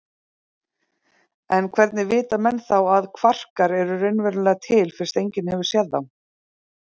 En hvernig vita menn þá að kvarkar eru raunverulega til fyrst enginn hefur séð þá?